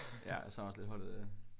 Ja jeg savner også lidt holdet